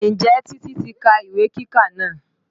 Ǹjẹ́ Titi ti ka ìwé kíkà náà?